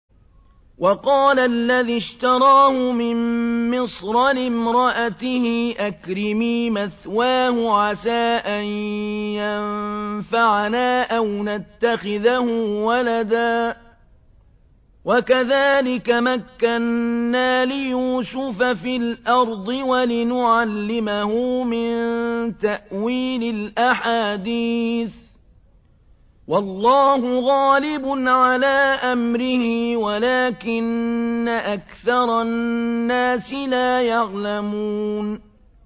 وَقَالَ الَّذِي اشْتَرَاهُ مِن مِّصْرَ لِامْرَأَتِهِ أَكْرِمِي مَثْوَاهُ عَسَىٰ أَن يَنفَعَنَا أَوْ نَتَّخِذَهُ وَلَدًا ۚ وَكَذَٰلِكَ مَكَّنَّا لِيُوسُفَ فِي الْأَرْضِ وَلِنُعَلِّمَهُ مِن تَأْوِيلِ الْأَحَادِيثِ ۚ وَاللَّهُ غَالِبٌ عَلَىٰ أَمْرِهِ وَلَٰكِنَّ أَكْثَرَ النَّاسِ لَا يَعْلَمُونَ